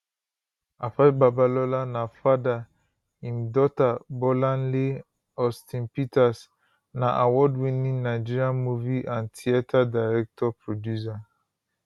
afe babalola na father im daughter bolanle aus ten peters na awardwinning nigerian movie and theatre director producer